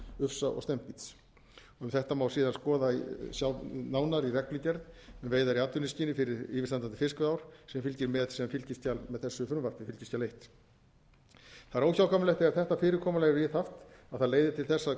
ufsa og steinbíts um þetta má síðan skoða sjá nánar í reglugerð um veiðar í atvinnuskyni fyrir yfirstandandi fiskveiðiár sem fylgir með sem fylgiskjal með þessu frumvarpi fylgiskjal fyrstu það er óhjákvæmilegt þegar þetta fyrirkomulag er viðhaft að það leiði til þess